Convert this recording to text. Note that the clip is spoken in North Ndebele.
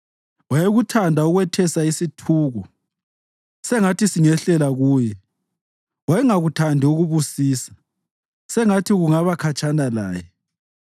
Wayekuthanda ukwethesa isithuko, sengathi singehlela kuye. Wayengakuthandi ukubusisa sengathi kungaba khatshana laye.